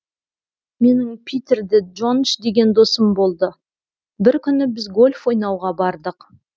менің питер де джондж деген досым болды бір күні біз гольф ойнауға бардық